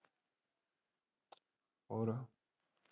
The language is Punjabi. ਹੋਰ।